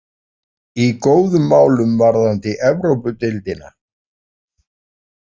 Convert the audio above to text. Í góðum málum varðandi Evrópudeildina.